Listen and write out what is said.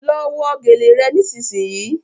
Ló wọ gèlè rẹ nísìsiyìí!